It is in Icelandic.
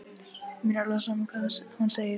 Mér er alveg sama hvað hún segir.